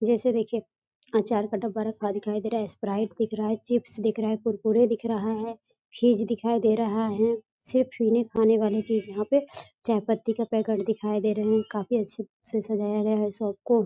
जैसे देखिये आचार का डब्बा रखा दिखाई दे रहा है स्प्राइट दिख रहा है चिप्स दिख रहा है कुरकुरे दिख रहा है फ़िज़ दिखाई दे रहा है सिर्फ पीने-खाने वाले यहाँ पे चायपत्ती का पैकेट दिखाई दे रहे है काफी अच्छे से सजाया गया है शॉप को।